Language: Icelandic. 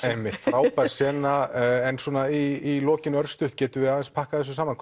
einmitt frábær sena en svona í lokin örstutt getum við aðeins pakkað þessu saman